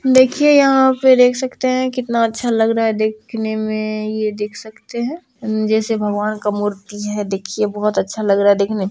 देखिए यहा पर देख सकते हैं कितना अच्छा लग रहा हैं देखने मे ये देख सकते हैं जैसे भगवान का मूर्ति हैं देखिए बहोत अच्छा लग रहा हैं देखने में |